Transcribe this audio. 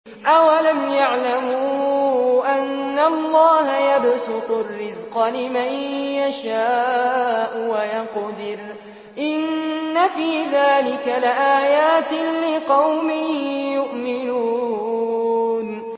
أَوَلَمْ يَعْلَمُوا أَنَّ اللَّهَ يَبْسُطُ الرِّزْقَ لِمَن يَشَاءُ وَيَقْدِرُ ۚ إِنَّ فِي ذَٰلِكَ لَآيَاتٍ لِّقَوْمٍ يُؤْمِنُونَ